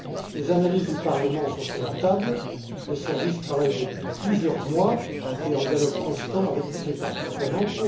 Les analyses du Parlement sont sur la table, mes services travaillent depuis plusieurs mois et en dialogue constant avec toutes les parties prenantes